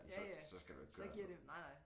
Ja ja så giver det nej nej